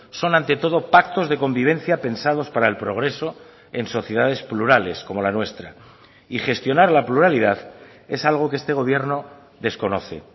son ante todo pactos de convivencia pensados para el progreso en sociedades plurales como la nuestra y gestionar la pluralidad es algo que este gobierno desconoce